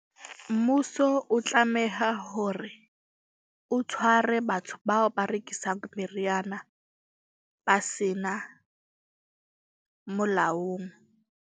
Mmuso o tlameha hore o tshware batho bao ba rekisang meriana ba sena molaong.